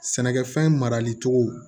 Sɛnɛkɛfɛn marali cogo